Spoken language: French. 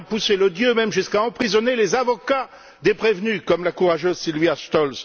On a poussé l'odieux même jusqu'à emprisonner les avocats des prévenus, comme la courageuse Sylvia Stolz.